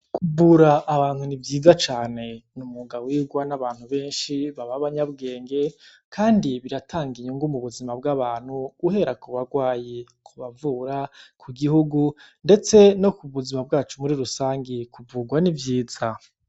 Kuvura abantu ni vyiza cane ni umwuga wigwa n'abantu benshi b'abanyabwenge kandi biratanga inyungu mu buzima bw'abantu guhera ku bagwayi, ku bavura, ku gihugu ndetse no ku buzima bwacu muri rusangi kuvugwa ni vyiza.